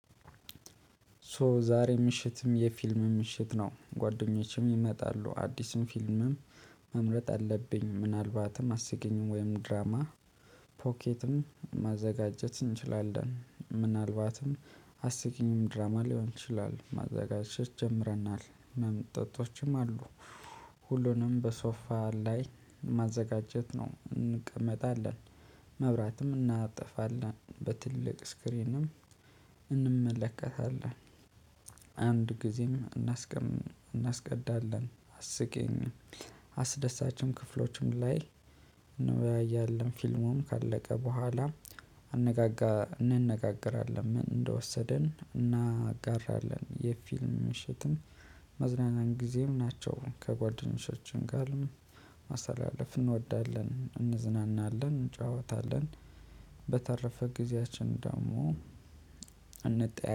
ሶ ዛሬ ምሽትም የፊልም ምሽት ነው ጓደኞቼም ይመጣሉ አዲስን ፊልምም መምረጥ አለብኝ። ምናልባትም አስቂኝም ወይም ድራማ ፖኬትም ማዘጋጀት እንችላለን። ምናልባትም አስቂኝም ድራማ ሊሆን ይችላል ማዘጋጀት ጀምረናል መምጣቶችም አሉ። ሁሉንም በሶፋ ላይ ማዘጋጀት ነው እንቀመጣለን። መብራትም እናጠፋለን በትልቅ ስክሪንም እንመለከታለን። አንድ ጊዜም እናስቀዳለን። አስቂኝ አስደሳችም ክፍሎችም ላይ እንወያያለን። ፊልሙም ካለቀ በኋላ እንነጋገራለን። ምን እንደወሰደን እናጋራለን። የፊልም ምሽትን መዝናናን ጊዜም ናቸው። ከጓደኞቻችን ጋር ማሳለፍ እንወዳለን እንዝናናለን እንጫወታለን። በተረፈ ጊዜያችን ደግሞ እንጠያ